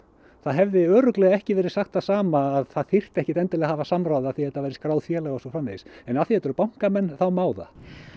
það hefði örugglega ekki verið sagt það sama að það þyrfti ekkert endilega að hafa samráð af því að þetta væri skráð félag og svo framvegis en af því að eru bankamenn þá má það